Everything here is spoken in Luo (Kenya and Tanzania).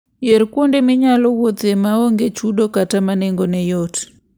Yier kuonde minyalo wuothoe ma onge chudo kata ma nengogi yot.